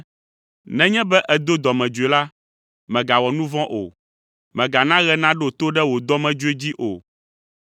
Nenye be èdo dɔmedzoe la, mègawɔ nu vɔ̃ o. Mègana ɣe naɖo to ɖe wo dɔmedzoe dzi o.